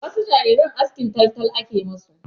Wasu jariran askin taltal ake ma su.